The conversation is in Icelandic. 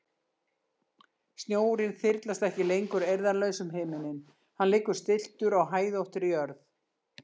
Snjórinn þyrlast ekki lengur eirðarlaus um himininn, hann liggur stilltur á hæðóttri jörð.